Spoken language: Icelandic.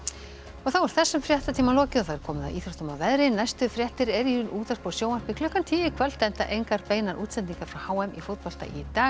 þá er þessum fréttatíma lokið og komið að íþróttum og veðri næstu fréttir eru í útvarpi og sjónvarpi klukkan tíu í kvöld enda engar beinar útsendingar frá h m í fótbolta í dag